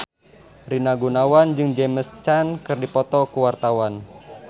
Rina Gunawan jeung James Caan keur dipoto ku wartawan